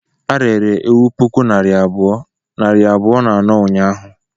A rere ewu puku nairi abụọ, nari abụọ na anọ unyahụ